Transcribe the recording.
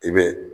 I bɛ